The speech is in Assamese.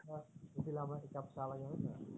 হয় নে নহয়